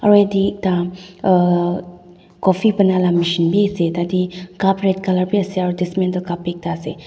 aru yate ekta uah coffee bana la machine bi ase tatae cup red colour biase aro dismental cup bi ekta ase.